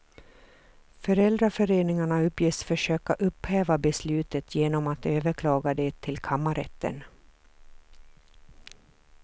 Föräldraföreningarna uppges försöka upphäva beslutet genom att överklaga det till kammarrätten.